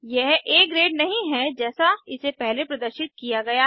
यह आ ग्रेड नहीं है जैसा इसे पहले प्रदर्शित किया गया है